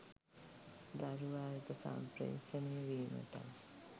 දරුවා වෙත සම්ප්‍රේෂණය වීමටත්